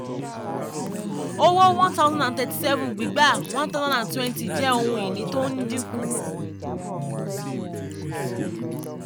owó 1037 gbígbà 1020 jẹ́ ohun ìní tí ń dínkù.